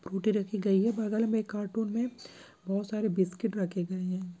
Good दे रखी गई है। बगल मे एक ऑटो मे बहुत सारी बिस्किट रखी गई है।